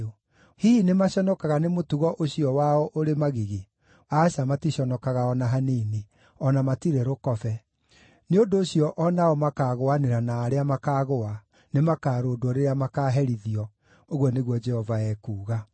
Hihi nĩmaconokaga nĩ mũtugo ũcio wao ũrĩ magigi? Aca, maticonokaga o na hanini; o na matirĩ rũkobe. Nĩ ũndũ ũcio o nao makaagũanĩra na arĩa makaagũa; nĩmakarũndwo rĩrĩa makaaherithio, ũguo nĩguo Jehova ekuuga.